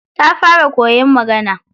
Ta fara koyan magana.